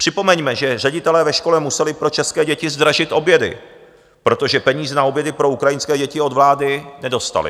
Připomeňme, že ředitelé ve škole museli pro české děti zdražit obědy, protože peníze na obědy pro ukrajinské děti od vlády nedostali.